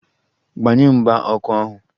Gbanye mgba ọkụ ahu!